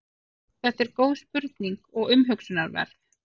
þetta er góð spurning og umhugsunarverð